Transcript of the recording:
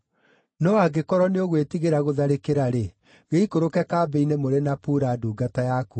No angĩkorwo nĩũgwĩtigĩra gũtharĩkĩra-rĩ, gĩikũrũke kambĩ-inĩ mũrĩ na Pura ndungata yaku,